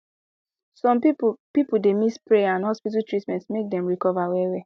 some people people dey mix prayer and hospital treatment make dem recover wellwell